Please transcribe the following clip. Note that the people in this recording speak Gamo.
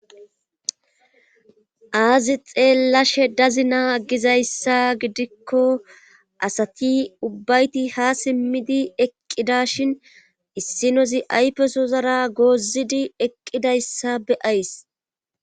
Aazi xeellashe dazina aggizayssa gidikko asati ubbayti ha simmidi eqqida shin issinozi aypesozara goozidi eqqidayssa be ays